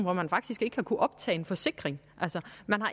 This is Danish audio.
at man faktisk ikke har kunnet optage en forsikring altså